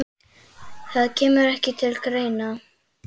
Það kemur ekki til greina!